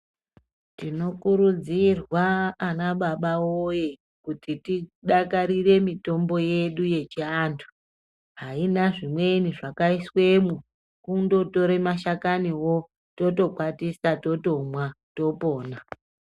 Tinokurudzirwa ana baba woye, kuti tidakarire mitombo yedu yechiantu. Haina zvimweni zvakaiswemwo, kundotora mashakaniwo totokwatisa totomwa, topona.